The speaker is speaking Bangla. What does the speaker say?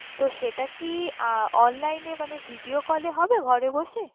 তো সেটা কি আহ online মানে video call এ হবে ঘরে বসে?